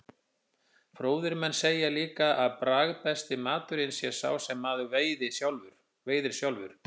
Fróðir menn segja líka að bragðbesti maturinn sé sá sem maður veiðir sjálfur.